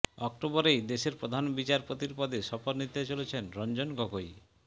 অক্টোবরেই দেশের প্রধান বিচারপতির পদে শপথ নিতে চলেছেন রঞ্জন গগৈ